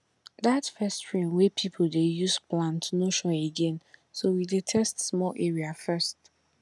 that first rain wey people dey use plant no sure again so we dey test small area first